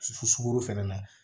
Sukɔro fɛnɛ na